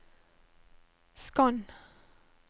skann